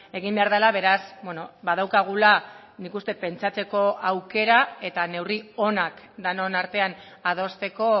egin behar dela beraz badaukagula nik uste dut pentsatzeko aukera eta neurri onak denon artean adosteko